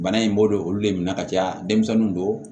Bana in bɔlen olu de minɛ ka caya denmisɛnninw don